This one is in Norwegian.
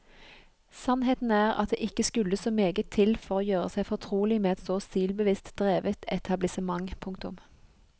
Sannheten er at det ikke skulle så meget til for å gjøre seg fortrolig med et så stilbevisst drevet etablissement. punktum